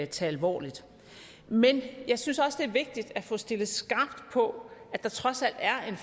tage alvorligt men jeg synes også det er vigtigt at få stillet skarpt på at der trods alt er en